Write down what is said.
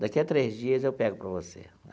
Daqui a três dias, eu pego para você.